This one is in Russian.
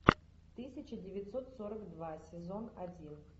тысяча девятьсот сорок два сезон один